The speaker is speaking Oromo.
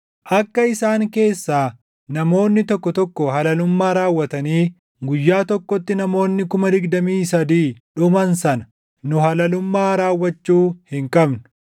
Akka isaan keessaa namoonni tokko tokko halalummaa raawwatanii guyyaa tokkotti namoonni 23,000 dhuman sana, nu halalummaa raawwachuu hin qabnu.